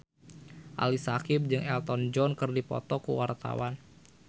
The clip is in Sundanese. Ali Syakieb jeung Elton John keur dipoto ku wartawan